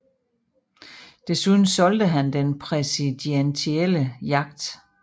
Desuden solgte han den præsidentielle yacht